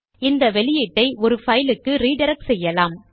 இந்த அவுட்புட்டை ஒரு பைலுக்கு ரிடிரக்ட் செய்யலாம்